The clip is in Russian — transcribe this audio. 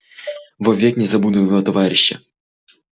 во век не забуду его товарища